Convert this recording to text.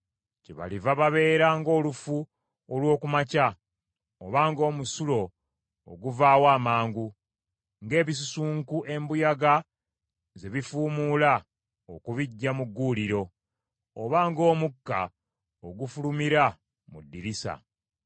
Kyebaliva babeera ng’olufu olw’oku makya, oba ng’omusulo oguvaawo amangu, ng’ebisusunku embuyaga ze bifumuula okubiggya mu gguuliro, oba ng’omukka ogufulumira mu ddirisa.